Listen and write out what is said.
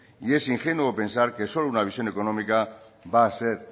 y es ingenuo pensar que solo una visión económica va a ser